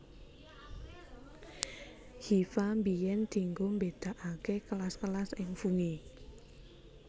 Hifa biyèn dinggo mbédakaké kelas kelas ing fungi